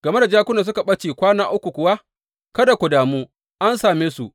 Game da jakunan da suka ɓace kwana uku kuwa, kada ka damu, an same su.